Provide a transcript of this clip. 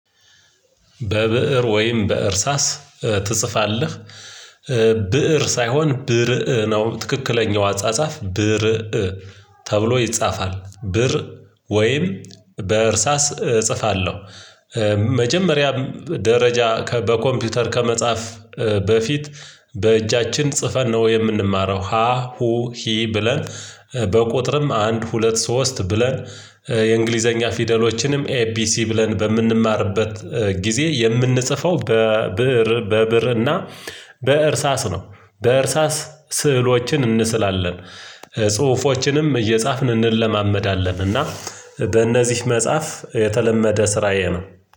በብእር ወይም በእርሳስ ትጽፋለህ? ብእር ሳይሆን ብርእ ነው ትክክለኛው አጻጻፍ ብርእ ተብሎ ይጻፋል። ብርእ ወይም እጽፋለሁ መጀመሪያ ደረጃ ከበኮምፒውተር ከመጻፍ በፊት በእጃችን ጽፈን ነው የምንማረው። ሀ ሁ ሂ ብለን በቁጥርም አንድ ሁለት ሶስት ብለን የእንግሊዘኛ ፊደሎችንም ኤቢሲ ብለን በምንማርበት ጊዜ የምንጽፈው በብርእ በብርእ እና በእርሳስ ነው። በእርሳስ ስዕሎችን እንስላለን ጽሁፎችንም እየጻፍን እንለማመዳለን። እና በእነዚህ መጽሐፍ የተለመደ ስራዬ ነው።